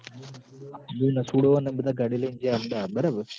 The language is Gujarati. મું નટુડો ન અમ બધા ગાડી લૈન જ્યા અમદાવાદ બરાબર